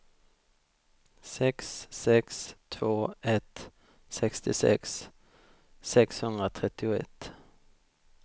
sex sex två ett sextiosex sexhundratrettioett